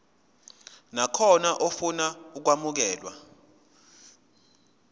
nakhona ofuna ukwamukelwa